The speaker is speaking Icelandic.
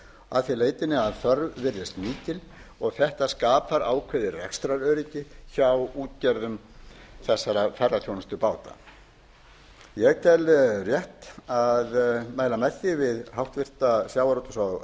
að því leytinu að þörf virðist mikil þetta skapar ákveðið rekstraröryggi hjá útgerðum þessara ferðaþjónustubáta ég tel rétt að mæla með því við háttvirta sjávarútvegs og